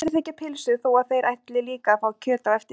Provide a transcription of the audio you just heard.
Allir þiggja pylsu þó að þeir ætli líka að fá kjöt á eftir.